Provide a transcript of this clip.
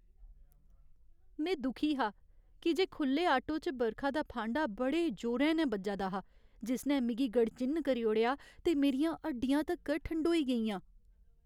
में दुखी हा की जे खु'ल्ले आटो च बरखा दा फांडा बड़े जोरें नै बज्जा दा हा, जिसने मिगी गड़चिन्न करी ओड़ेआ ते मेरियां हड्डियां तक्कर ठंडोई गेइयां।